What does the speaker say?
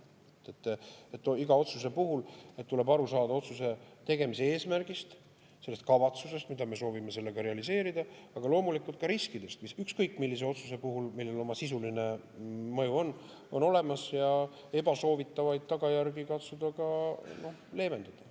Iga otsuse puhul tuleb aru saada otsuse tegemise eesmärgist, sellest kavatsusest, mida me soovime sellega realiseerida, aga loomulikult ka riskidest, mis ükskõik millise otsuse puhul, millel on sisuline mõju, on olemas, ja ebasoovitavaid tagajärgi katsuda ka leevendada.